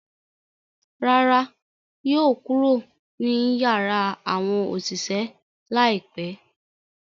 Rárá, yóò kuro ni yara awọn oṣiṣẹ laipẹ